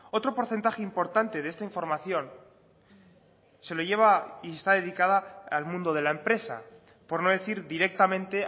otro porcentaje importante de esta información se lo lleva y está dedicada al mundo de la empresa por no decir directamente